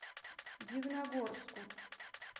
дивногорску